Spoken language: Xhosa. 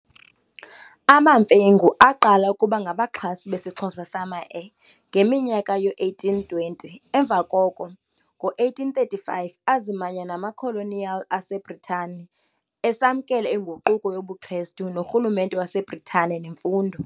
AmaMfengu aqala ukuba ngabaxhasi besiXhosa sama e ngeminyaka yoo-1820 emva koko, ngo-1835, azimanya namakoloniyali aseBritani, esamkela inguquko yobuKrestu, norhulumente waseBritane nemfundo.